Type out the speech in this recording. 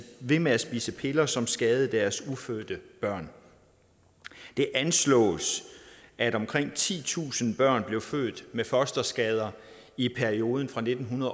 ved med at spise piller som skadede deres ufødte børn der anslås at omkring titusind børn blev født med fosterskader i perioden fra nitten